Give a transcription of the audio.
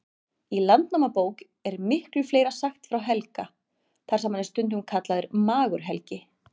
Í Landnámabók er miklu fleira sagt frá Helga, þar sem hann er stundum kallaður Magur-Helgi.